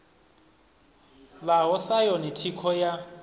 ḽaho sa yone thikho ya